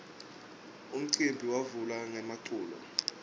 umcimbi wavula ngemaculo